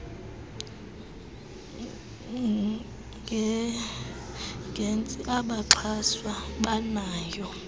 agents abaxhaswa banalo